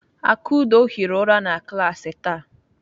Akudo hiri ụra na klaasị taa.